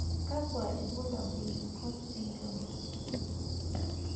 kakua irbulabol le COACH syndrome?